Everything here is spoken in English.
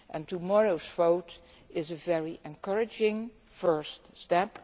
Tomorrow's vote is a very encouraging first step.